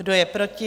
Kdo je proti?